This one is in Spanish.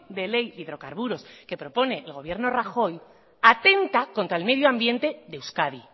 de ley de hidrocarburos que propone el gobierno rajoy atenta contra el medio ambiente de euskadi